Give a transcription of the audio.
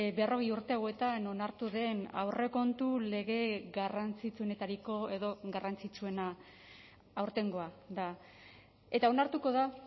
berrogei urte hauetan onartu den aurrekontu lege garrantzitsuenetariko edo garrantzitsuena aurtengoa da eta onartuko da